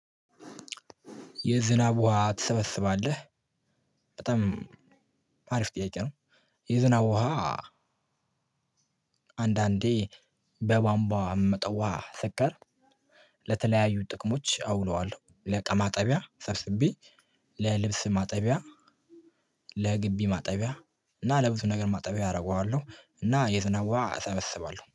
የዝናብ ውሃ ትሰበስባለህ? በጣም አሪፍ ጥያቄ ነው። የዝናብ ውሃ። አንዳንዴ በቧንቧ መጠዋ ስቀር ለተለያዩ ጥቅሞች አውለዋለሁ ለእቃ ማጠቢያ ሰብስቤ። ለልብስ ማጠቢያ። ለግቢ ማጠቢያ እና ለብዙ ነገር ማጠቢያ አደርገዋለሁ። እና የዝናብ ውሃ እሰበስባለሁ